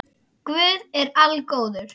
Guð er algóður